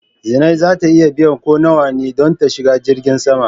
Zinai za ta iya biyan ko nawa ne don ta shiga jirgin sama.